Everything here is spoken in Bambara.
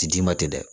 Ti d'i ma tɛ dɛ